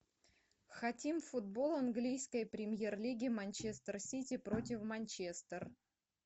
хотим футбол английской премьер лиги манчестер сити против манчестер